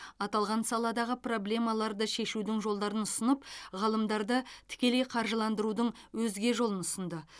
аталған саладағы проблемаларды шешудің жолдарын ұсынып ғалымдарды тікелей қаржыландырудың өзге жолын ұсынды